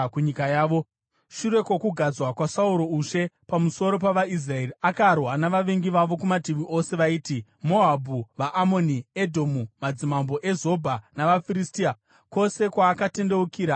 Shure kwokugadzwa kwaSauro ushe pamusoro pavaIsraeri, akarwa navavengi vavo kumativi ose, vaiti: Moabhu, vaAmoni, Edhomu, madzimambo eZobha, navaFiristia. Kwose kwaakatendeukira, akavatambudza.